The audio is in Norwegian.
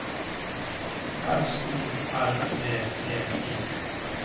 S O L V E I